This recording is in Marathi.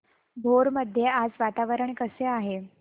भोर मध्ये आज वातावरण कसे आहे